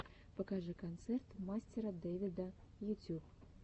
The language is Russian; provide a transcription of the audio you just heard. покажи концерт мастера дэвида ютюб